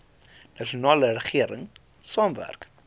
nasionale regering saamwerk